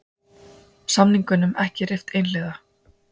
Samningunum ekki rift einhliða